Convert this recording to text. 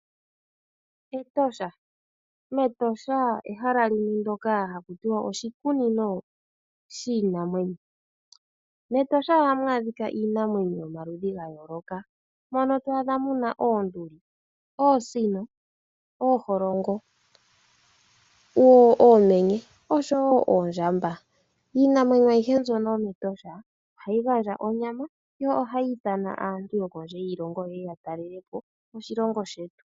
Etosha Metosha ehala limwe ndyoka hakutiwa oshikunino shiinamwenyo. Metosha ohamu adhikwa iinamwenyo yomaludhi ga yooloka. Mono twaadha muna oonduli, oosino, ooholongo, oomenye oshowo oondjamba. Iinamwenyo ayihe mbyono yometosha ohayi gandja onyama yo ohayi ithana aantu yokondje yiilongo yeye ya talelepo moshilongo shetu.